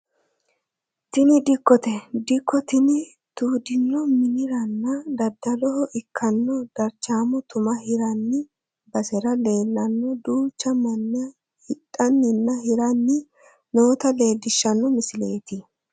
Tini dikkote dikko tini tuudinohu miniranna daddaloho ikkanno darchaamo tuma hirranni basera leelle duuchu manni hidhanninna hiranni noota leellishshano misileeti.